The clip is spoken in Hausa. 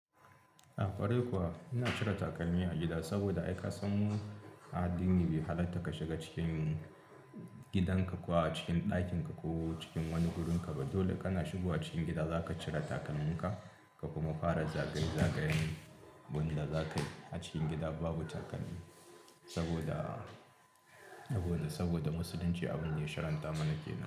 Ah kwarai kuwa ina cire takalmi a gida saboda ai ka mu addini bai halatta ka shiga cikin gidanka kuwa a cikin ɗakinka ko cikin wani wurinka ba. Dole kana shigo a cikin gida za ka cire takalmin ka, ka kuma fara zagaye-zagayen bunɗa za ka yi a cikin gida babu takalmi saboda, saboda musulunci abun ne sharantar mana ke nan.